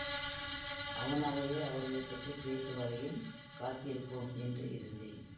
அவனாகவே அவர்களை பற்றி பேசும் வரையில் காத்திருப்போம் என்று இருந்தேன்